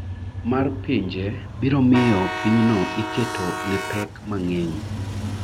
mar pinje biro miyo pinyno iketo ne pek mang’eny.